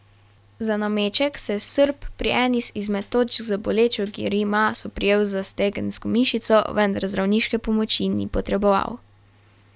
Za nameček se je Srb pri eni zmed točk z bolečo grimaso prijel za stegensko mišico, vendar zdravniške pomoči ni potreboval.